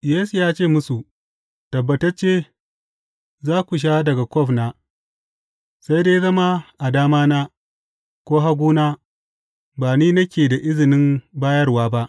Yesu ya ce musu, Tabbatacce za ku sha daga kwaf na, sai dai zama a damana, ko haguna, ba ni nake da izinin bayarwa ba.